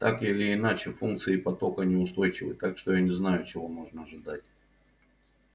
так или иначе функции потока неустойчивы так что я не знаю чего можно ожидать